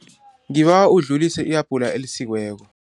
Ngibawa udlulise i-abhula elisikiweko.